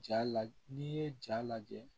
Jaa lajɛ n'i ye ja lajɛ